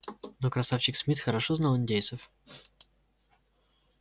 но красавчик смит хорошо знал индейцев